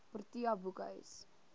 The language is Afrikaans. protea boekhuis